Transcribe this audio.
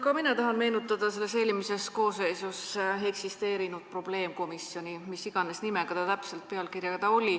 Ka mina tahan meenutada eelmises koosseisus eksisteerinud probleemkomisjoni, mis iganes nimega ta täpselt oli.